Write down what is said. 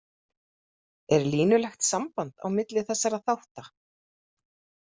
Er línulegt samband á milli þessara þátta?